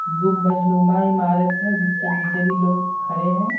गुंबजनुमा इमारत है जिसके नीचे भी लोग खड़े हैं।